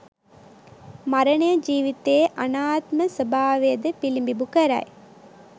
මරණය ජීවිතයේ අනාත්ම ස්වභාවයද පිළිබිඹු කරයි.